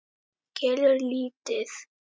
Kelur lítið.